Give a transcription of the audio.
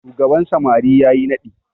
shugaban samari ya yi naɗi